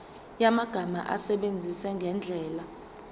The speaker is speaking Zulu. yamagama awasebenzise ngendlela